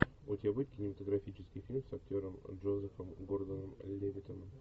у тебя будет кинематографический фильм с актером джозефом гордоном левитаном